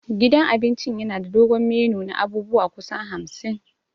Gidan cin abinci yana da dogon menu na abubuwa kusan hamsin.